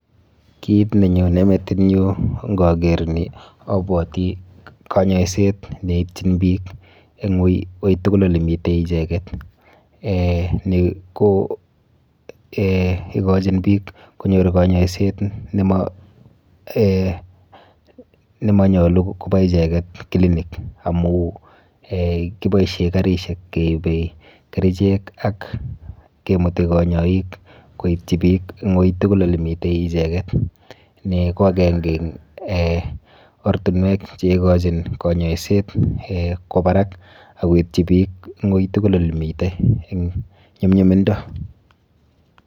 Kit nenyone metinyu nkaker ni abwoti kanyoiset neitchin biik eng ui tugul olemite icheket. Eh ni ko eh ikochin biik kanyoiset nemonyolu kopa icheket clinic amu eh kiboishe karishek keibe kerichek ak kemuti kanyoik koitchi biik eng ui tugul olemite icheket. Ni ko akenke eng eh ortinwek cheikochin kanyoiset eh kwo barak ak koitchi biik eng ui tugul olemite eng nyumnyumindo.